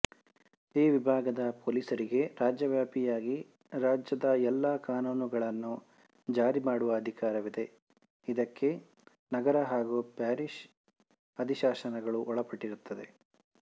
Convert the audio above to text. ಈ ವಿಭಾಗದ ಪೊಲೀಸರಿಗೆ ರಾಜ್ಯವ್ಯಾಪಿಯಾಗಿ ರಾಜ್ಯದ ಎಲ್ಲ ಕಾನೂನುಗಳನ್ನು ಜಾರಿಮಾಡುವ ಅಧಿಕಾರವಿದೆ ಇದಕ್ಕೆ ನಗರ ಹಾಗು ಪ್ಯಾರಿಷ್ ಅಧಿಶಾಸನಗಳು ಒಳಪಟ್ಟಿರುತ್ತವೆ